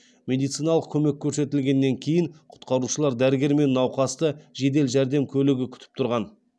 медициналық көмек көрсетілгеннен кейін құтқарушылар дәрігер мен науқасты жедел жәрдем көлігі күтіп тұрған